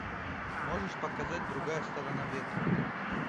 можешь показать другая сторона ветра